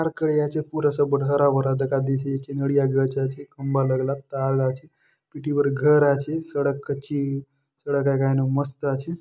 खड़े आचे पूरा सब बट हरा-भरा दखा देयसि आचे नडिया गच आचे खम्बा लगला आचे तार आचे पिटी बर घर आचे सड़क कच्ची सड़क आय कायनुक मस्त आचे।